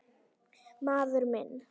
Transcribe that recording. Maður minn.